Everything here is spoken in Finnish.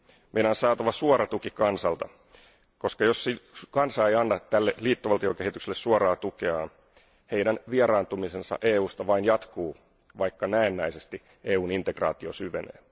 Meidän on saatava suora tuki kansalta, koska jos kansa ei anna tälle liittovaltiokehitykselle suoraa tukeaan, heidän vieraantumisensa EUsta vain jatkuu, vaikka näennäisesti EUn integraatio syvenee.